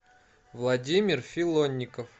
владимир филонников